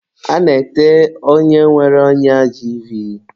A na-ete onye nwere ọnya jiivii.